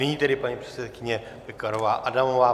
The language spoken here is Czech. Nyní tedy paní předsedkyně Pekarová Adamová.